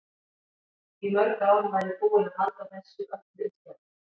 Í mörg ár var ég búin að halda þessu öllu í skefjum.